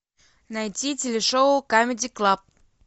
найти телешоу камеди клаб